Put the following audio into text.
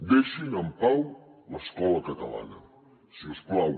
deixin en pau l’escola catalana si us plau